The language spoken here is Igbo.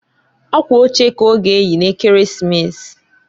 Akwa oche ka ọ ga eyi n'Ekeresimesi.